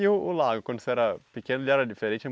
E o o lago, quando você era pequeno, ele era diferente?